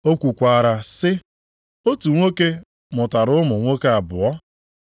O kwukwaara sị, “Otu nwoke mụtara ụmụ nwoke abụọ.